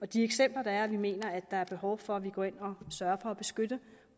de eksempler der er at vi mener at der er behov for at vi går ind og sørger for at beskytte